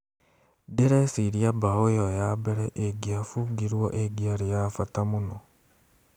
"Ndireciria mbaũ ĩyo ya mbere ĩngĩabungirwo ĩngĩari ya bata mũno.